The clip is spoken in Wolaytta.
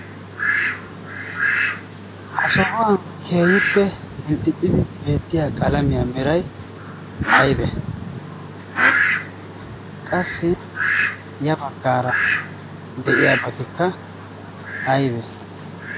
ha sohuwan keeyippe milxxixxidi beettiya qalamiyaa mirai aibe qassi ya baggaara de7iya batikka aibe